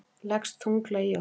Leggst þunglega í okkur